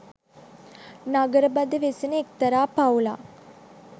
නගරබද වෙසෙන එක්තරා පවුලක්